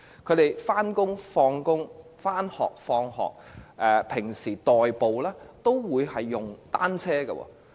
不論是上班或下班、上學或放學，又或平時代步，他們都會使用單車。